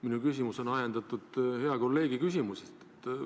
Minu küsimus on ajendatud hea kolleegi küsimusest.